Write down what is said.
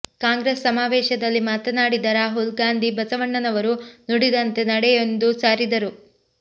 ಕಾಂಗ್ರೆಸ್ ಸಮಾವೇಶದಲ್ಲಿ ಮಾತನಾಡಿದ ರಾಹುಲ್ ಗಾಂಧಿ ಬಸವಣ್ಣನವರು ನುಡಿದಂತೆ ನಡೆ ಎಂದು ಸಾರಿದರು